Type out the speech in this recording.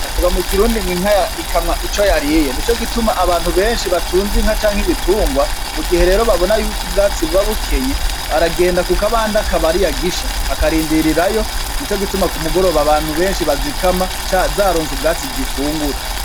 Bavugwa mu kirundi inka ikamwa Ico yariye nico gituma abantu benshi batunze inka canke ibitungwa mu gihe babona yuko ubwatsi buba bukenye aragenda kukabande akaba ariyo agisha akarindirirayo, nico gituma k'umugoroba abantu benshi bazikamwa zaronse ubwatsi zifungura.